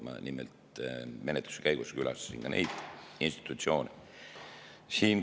Ma nimelt menetluse käigus külastasin ka neid institutsioone.